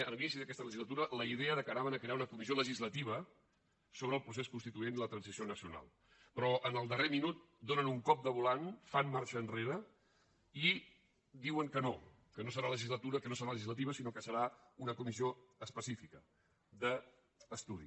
en l’inici d’aquesta legislatura la idea que crearien una comissió legislativa sobre el procés constituent i la transició nacional però en el darrer minut donen un cop de volant fan marxa enrere i diuen que no que no serà legislativa sinó que serà una comissió específica d’estudi